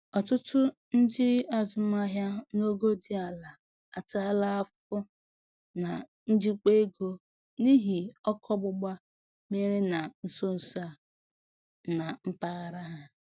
Ọtụtụ ndị azụmaahịa n'ogo dị ala ataala afụfụ na njikwa ego n'ihi ọkụ ọgbụgba mere na nsonso a na mpaghara ha.